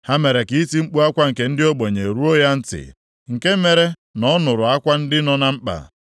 Ha mere ka iti mkpu akwa nke ndị ogbenye ruo ya ntị, nke mere na ọ nụrụ akwa ndị nọ na mkpa.